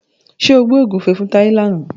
Ṣé o gbẹ́ ògúnfe fún Táyé làna?